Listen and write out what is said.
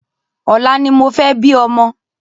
Ọ̀la ni mo fẹ́ bí ọmọ